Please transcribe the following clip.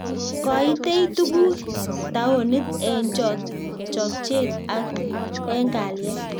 Koitei tukuk taonit eng chokchet ak eng kalyet